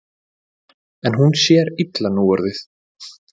En hún sér illa núorðið.